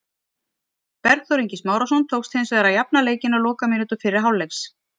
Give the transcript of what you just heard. Bergþór Ingi Smárason tókst hins vegar að jafna leikinn á lokamínútu fyrri hálfleiks.